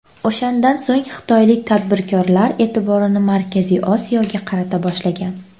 O‘shandan so‘ng xitoylik tadbirkorlar e’tiborini Markaziy Osiyoga qarata boshlagan.